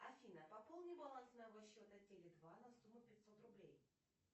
афина пополни баланс моего счета теле два на сумму пятьсот рублей